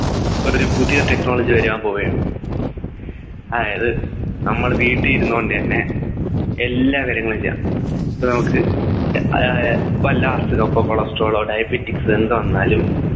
ഒരു പുതിയ Technology വരാൻ പോവുകയാണ് അതായത് നമ്മുടെ വീട്ടിൽ ഇരുന്നു കൊണ്ട് തന്നെ എല്ലാ കാര്യങ്ങളും ചെയ്യാം ഇപ്പൊ നമുക്ക് ഏർ ആഹ് ആഹ് ഇപ്പൊ എല്ലാ അസുഖം പ്പം Cholesterol ഓ diabetics എന്തുവന്നാലും